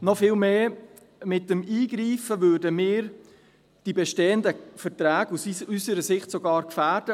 Aus unserer Sicht würden wir mit einem Eingriff vielmehr sogar die bestehenden Verträge gefährden.